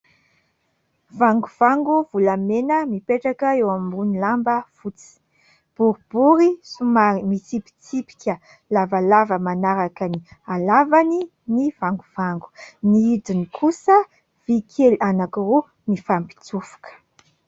Vangovango volamena mipetraka eo ambony lamba fotsy. Boribory somary mitsipitsipika lavalava manaraka ny halavany ny vangovango. Ny hidiny kosa, vy kely anankiroa mifampitsofoka.